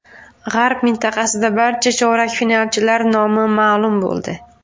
G‘arb mintaqasida barcha chorak finalchilar nomi ma’lum bo‘ldi.